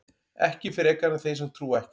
ekki frekar en þeir sem trúa ekki